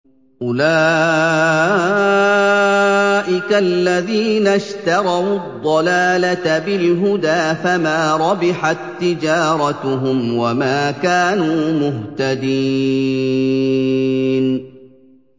أُولَٰئِكَ الَّذِينَ اشْتَرَوُا الضَّلَالَةَ بِالْهُدَىٰ فَمَا رَبِحَت تِّجَارَتُهُمْ وَمَا كَانُوا مُهْتَدِينَ